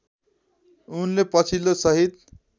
उनले पछिल्लो सहीद